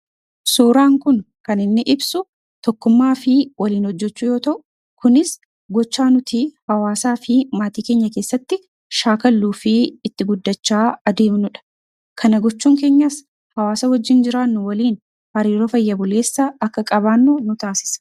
Suuraan kun kan inni ibsu tokkummaa fi waliin hojjechuu yoo ta'u, kunis gochaa nuti hawaasaa fi maatii keenya keessatti shaakalluu fi itti guddachaa adeemnudha. Kana gochuun keenyas hawaasa wajjin jiraannu waliin hariiroo fayya buleessa akka qabaannu nu taasisa.